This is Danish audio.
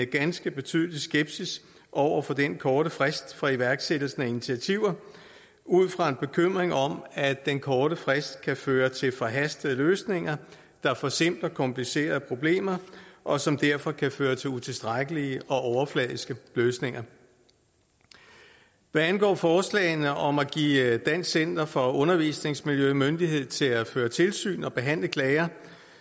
ganske betydelig skepsis over for den korte frist for iværksættelsen af initiativer ud fra en bekymring om at den korte frist kan føre til forhastede løsninger der forsimpler komplicerede problemer og som derfor kan føre til utilstrækkelige og overfladiske løsninger hvad angår forslagene om at give dansk center for undervisningsmiljø myndighed til at føre tilsyn og behandle klager